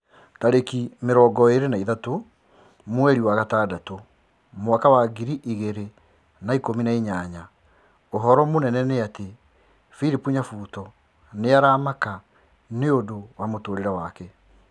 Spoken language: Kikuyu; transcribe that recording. Tarĩki mĩrongo ĩrĩ na ithatũ mweri wa itandatũ mwaka wa ngiri igĩrĩ na ikũmi na inyanya ũhoro mũnene nĩ ati philip nyabuto nĩ aramaka nĩũndũ wa mũtũrĩre wake